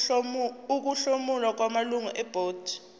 ukuhlomula kwamalungu ebhodi